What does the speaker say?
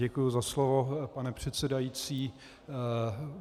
Děkuji za slovo, pane předsedající.